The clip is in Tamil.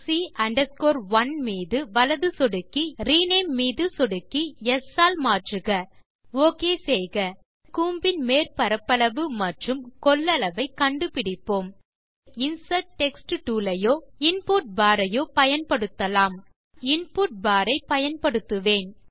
ஆப்ஜெக்ட் c 1 மீது வலது சொடுக்கவும் ரினேம் மீது சொடுக்கவும் c 1 ஐ ஸ் ஆல் மாற்றுக ஓகே செய்க இப்போது கூம்பின் மேற்பரப்பளவு மற்றும் கொள்ளளவை கண்டு பிடிப்போம் டூல் பார் இலிருந்து இன்சர்ட் டெக்ஸ்ட் டூல் ஐயோ அல்லது இன்புட் பார் ஐயோ பயன்படுத்தலாம் நான் இன்புட் பார் ஐ பயன்படுத்துவேன்